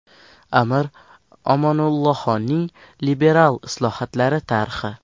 Amir Omonullaxonning liberal islohotlari tarixi.